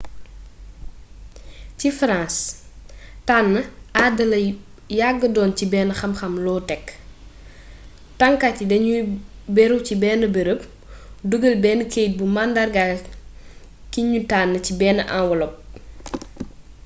ci france tann aada la yagga doon ci bénn xam xam low-tech tannkat yi dañuy béru ci bénn beereep dugeel benn keyit buy mandarga ki ñu tànn ci beenn enwelop